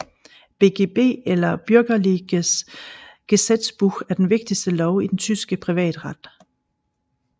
BGB eller Bürgerliches Gesetzbuch er den vigtigste lov i den tyske privatret